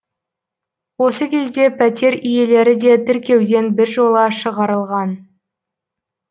осы кезде пәтер иелері де тіркеуден біржола шығарылған